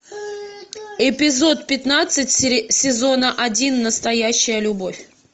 эпизод пятнадцать сезона один настоящая любовь